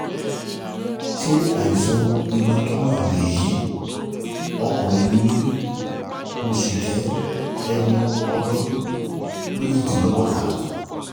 Ṣé àìsàn hematoma lèyí? Ọkùnrin ni mí, mo sì jẹ́ ẹni ọdún méjìdínlọ́gọ́ta